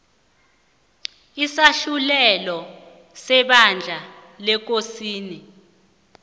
isahlulelo sebandla lekosini